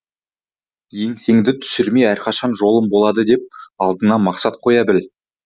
еңсеңді түсірмей әрқашан жолым болады деп алдыңа мақсат қоя біл